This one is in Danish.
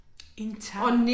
Ih tak